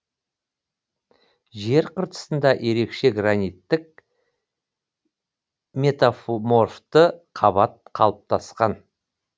жер қыртысында ерекше граниттік метаморфты қабат қалыптасқан